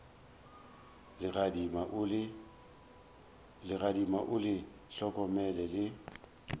legadima o le hlokomele le